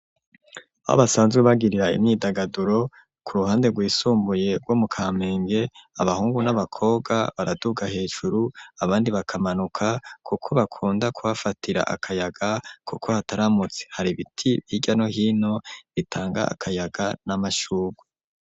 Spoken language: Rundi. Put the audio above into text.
Aho basanzwe bagirira imyidagaduro ku ruhande rwisumbuye rwo mu kamenge abahungu n'abakobwa baraduga hejuru abandi bakamanuka kuko bakunda ku hafatira akayaga kuko hataramutse hari ibiti hirya no hino bitanga akayaga n'amashyurwe.